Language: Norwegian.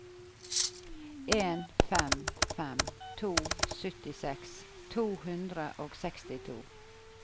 en fem fem to syttiseks to hundre og sekstito